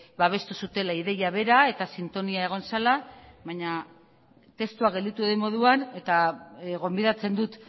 babestu zutela ideia bera eta sintonia egon zela baina testua gelditu den moduan eta gonbidatzen dut